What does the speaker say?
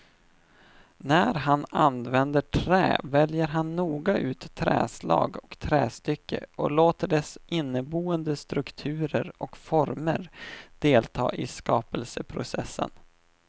När han använder trä väljer han noga ut träslag och trästycke och låter deras inneboende strukturer och former delta i skapelseprocessen.